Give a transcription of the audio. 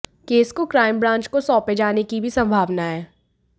case को crime branch को सौंपे जाने की भी संभावना है